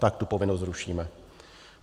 Tak tu povinnost zrušíme.